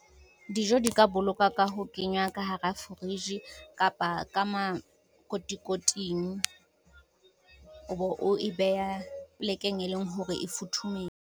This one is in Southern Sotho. Dijo di ka boloka ka ho kenywa ka hara fridge kapa ka makotikoting, o bo o e behe polekeng e leng hore e futhumetseng .